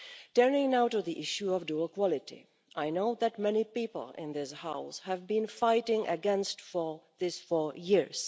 Turning now to the issue of dual quality I know that many people in this House have been fighting against this for years.